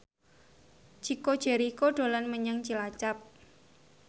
Chico Jericho dolan menyang Cilacap